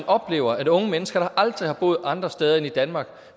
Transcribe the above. oplever at unge mennesker der aldrig har boet andre steder end i danmark